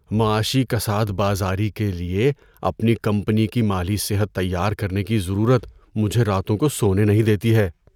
معاشی کساد بازاری کے لیے اپنی کمپنی کی مالی صحت تیار کرنے کی ضرورت مجھے راتوں کو سونے نہیں دیتی ہے۔